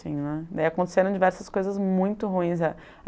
assim, né. Daí aconteceram diversas coisas muito ruins.